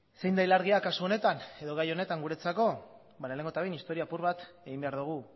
zein da ilargia kasu honetan edo gai honetan guretzako ba lehenengo eta behin historia apur bat egin behar dugu